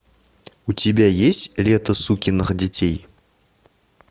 у тебя есть лето сукиных детей